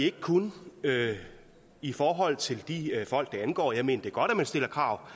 ikke kun i forhold til de folk det angår for jeg mener det er godt at man stiller krav